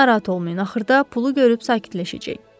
Narahat olmayın, axırda pulu görüb sakitləşəcək.